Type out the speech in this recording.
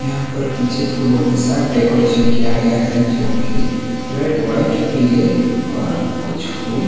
यहां पर पीछे फूलों के साथ डेकोरेशन किया गया है जोकि रेड व्हाइट पीले और कुछ फुल--